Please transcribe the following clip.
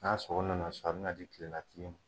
N'a sogo na na so a bɛ na di kilela tigi ma.